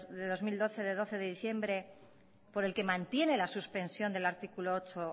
barra dos mil doce de doce de diciembre por el que mantiene la suspensión del artículo ocho